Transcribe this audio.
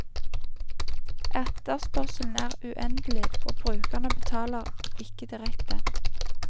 Etterspørselen er uendelig, og brukerne betaler ikke direkte.